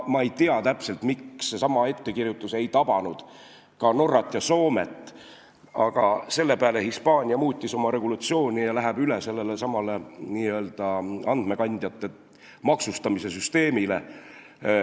Ma ei tea täpselt, miks seesama ettekirjutus ei tabanud Norrat ja Soomet, aga Hispaania muutis selle peale oma seadusi ja läheb üle andmekandjate maksustamise süsteemile.